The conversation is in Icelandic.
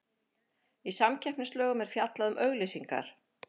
Í samkeppnislögum er fjallað um auglýsingar.